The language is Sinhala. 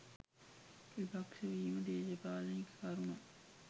විපක්ශ වීම දේශපාලනික කරුණක්